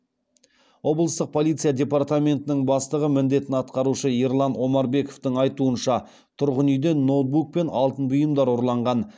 облыстық полиция департаментінің бастығы міндетін атқарушы ерлан омарбековтің айтуынша тұрғын үйден ноутбук пен алтын бұйымдар ұрланған